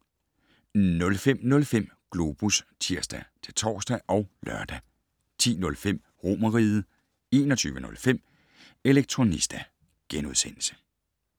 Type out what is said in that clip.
05:05: Globus (tir-tor og lør) 10:05: Romerriget 21:05: Elektronista *